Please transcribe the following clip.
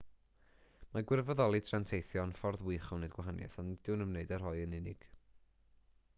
mae gwirfoddoli tra'n teithio yn ffordd wych o wneud gwahaniaeth ond nid yw'n ymwneud â rhoi yn unig